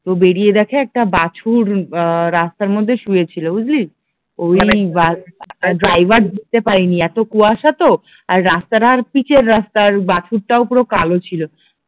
তো বেরিয়ে দেখে একটা বাছুর আহ রাস্তার মধ্যে শুয়ে ছিল বুঝলি ওই ড্রাইভার দেখতে পাইনি এত কুয়াশা তো আর রাস্তাটা আর পিচের রাস্তা আর বাছুরটাও পুরো কালো ছিল